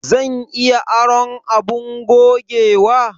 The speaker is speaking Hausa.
Zan iya aron abin gogewa?